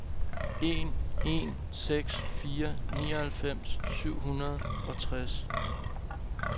en en seks fire nioghalvfems syv hundrede og treogtres